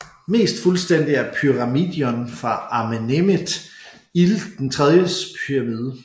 Mest fuldstændig er pyramidion fra Amenemhet IIIs pyramide